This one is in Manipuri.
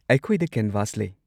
ꯑꯩꯈꯣꯏꯗ ꯀꯦꯟꯚꯥꯁ ꯂꯩ꯫